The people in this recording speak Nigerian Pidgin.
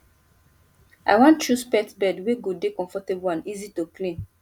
i wan choose pet bed wey go dey comfortable and easy to clean